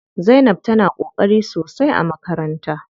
Zainab tana ƙoƙari sosai a makaranta.